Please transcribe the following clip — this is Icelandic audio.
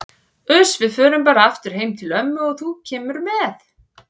Uss, við förum bara aftur heim til ömmu og þú kemur með.